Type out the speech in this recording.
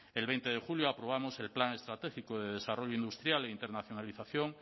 el veinte de julio aprobamos el plan estratégico de desarrollo industrial e internacionalización